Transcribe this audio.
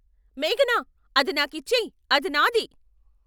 మేఘనా, అది నాకిచ్చేయ్. అది నాది!